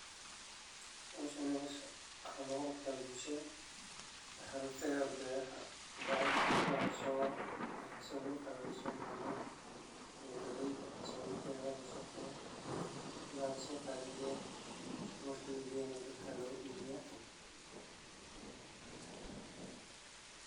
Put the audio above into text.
waxa Howshan waxa loga qabtaa bulshada sideen boodh iyo ciid, tallaabo kastana waxay noqotay mid culus. Si kastaba ha ahaatee, waan soconnay, annagoo og in rajo ay naga